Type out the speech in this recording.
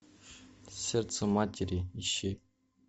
сердце матери ищи